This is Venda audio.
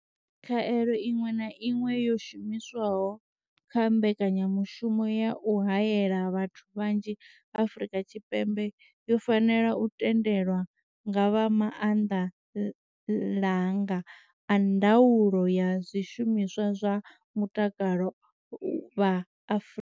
Khaelo iṅwe na iṅwe yo shumiswaho kha mbekanyamushumo ya u haela vhathu vhanzhi Afrika Tshipembe yo fanela u tendelwa nga vha maanḓalanga a ndaulo ya zwishumiswa zwa mutakalo vha.